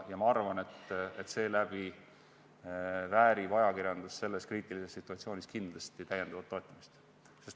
Ma arvan, et seetõttu väärib ajakirjandus selles kriitilises situatsioonis kindlasti täiendavat toetamist.